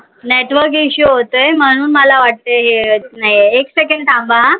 network issue होतोय म्हणून मला वाटतय येत नाही आहे. एक second थांबा हा